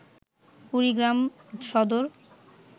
Kurigram Sadar